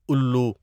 الو